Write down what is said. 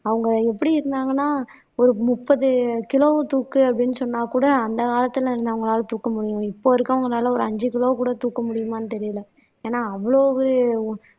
அவங்க எப்படி இருந்தாங்கன்னா ஒரு முப்பது கிலோ தூக்கு அப்படீன்னு சொன்னா கூட அந்த காலத்துல இருந்தவங்களால தூக்க முடியும் இப்ப இருக்கறவங்களால ஒரு அஞ்சு கிலோ கூட தூக்க முடியுமான்னு தெரியல ஏன்னா அவ்வளவு